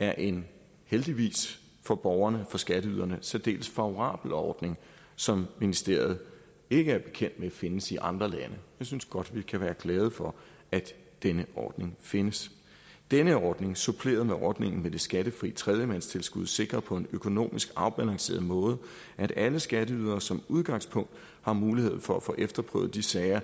er en heldigvis for borgerne for skatteyderne særdeles favorabel ordning som ministeriet ikke er bekendt med findes i andre lande jeg synes godt vi kan være glade for at denne ordning findes denne ordning suppleret med ordningen med det skattefri tredjemandstilskud sikrer på en økonomisk afbalanceret måde at alle skatteydere som udgangspunkt har mulighed for at få efterprøvet de sager